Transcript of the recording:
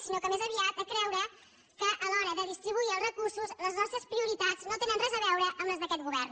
sinó que més aviat a creure que a l’hora de redistribuir els re·cursos les nostres prioritats no tenen res a veure amb les d’aquest govern